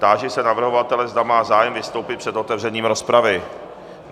Táži se navrhovatele, zda má zájem vystoupit před otevřením rozpravy.